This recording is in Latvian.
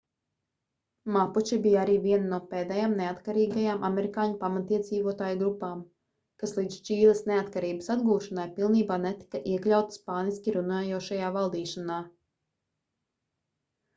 mapuči bija arī viena no pēdējām neatkarīgajām amerikāņu pamatiedzīvotāju grupām kas līdz čīles neatkarības atgūšanai pilnībā netika iekļauta spāniski runājošajā valdīšanā